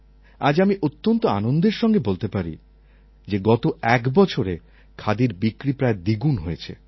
আজ আমি অত্যন্ত আনন্দের সঙ্গে বলতে পারি যে গত একবছরে খাদির বিক্রি প্রায় দ্বিগুণ হয়েছে